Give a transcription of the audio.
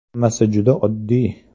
Hammasi juda oddiy.